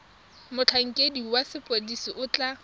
motlhankedi wa sepodisi o tla